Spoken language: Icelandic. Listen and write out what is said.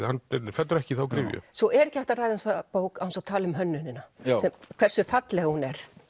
fellur ekki í þá gryfju svo er ekki hægt að ræða þessa bók án þess að tala um hönnunina hversu falleg hún